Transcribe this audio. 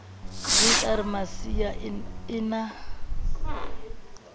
j r masiea e na